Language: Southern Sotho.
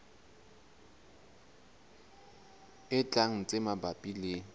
e tlang tse mabapi le